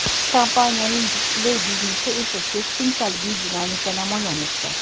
Kompaniyaning displey biznesi esa keskin salbiy dinamika namoyon etdi.